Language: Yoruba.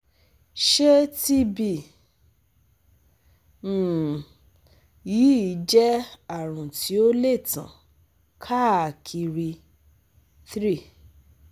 Ṣe TB um yii jẹ arun ti o le tan kaakiri? 3